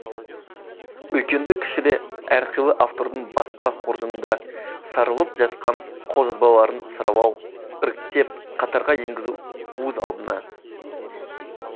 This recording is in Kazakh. үлкенді кішілі әрқилы автордың баспа қоржынында сарылып жатқан қолжазбаларын саралау іріктеп қатарға енгізу өз алдына